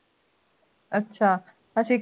ਅੱਛਾ ਅਸੀਂ